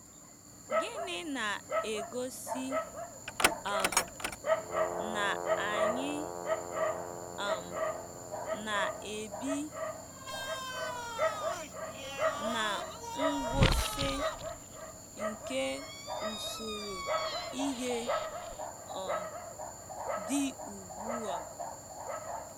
Gịnị na-egosi um na anyị um na-ebi ná ngwụsị nke usoro ihe um dị ugbu a?